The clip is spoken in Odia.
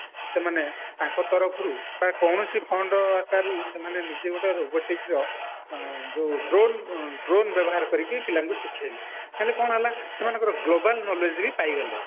ସେମାନେ ତାଙ୍କ ତରଫରୁ ବା କୌଣସି fund ଆକାରରୁ ସେମାନେ ନିଜେ ଗୋଟେ robotic ର ଯୋଉ drone ଦ୍ରୋନେ ବ୍ୟବହାର କରିକି ପିଲାଙ୍କୁ ଶିଖେଇଲେ ହେଲେ କଣ ହେଲା ସେମାନଙ୍କର global knowledge ବି ପାଇଗଲେ